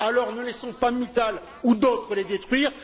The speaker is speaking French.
Alors, ne laissons pas Mittal ou d'autres les détruire!